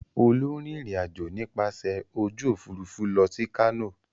Olú ń rìnrìn-àjò nípasẹ̀ ojú òfurufú lọ sí Kano.